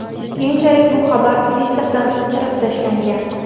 Keyinchalik bu xabar Twitter’dan o‘chirib tashlangan.